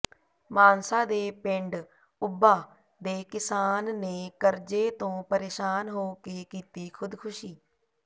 ਮਾਨਸਾ ਦੇ ਪਿੰਡ ਉੱਭਾ ਦੇ ਕਿਸਾਨ ਨੇ ਕਰਜ਼ੇ ਤੋਂ ਪਰੇਸ਼ਾਨ ਹੋ ਕੇ ਕੀਤੀ ਖ਼ੁਦਕੁਸ਼ੀ